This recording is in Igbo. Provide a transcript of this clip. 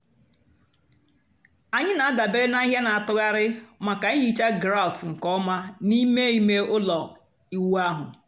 ànyị́ na-àdabèrè na àhị́hị́à na-àtụ̀ghàrị̀ maka ị́hìcha gráùt nkè ọ́ma n'ímè ímé ụ́lọ́ ị́wụ́ ahụ́.